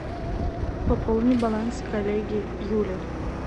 пополни баланс коллеги юли